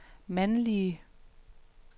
mandlige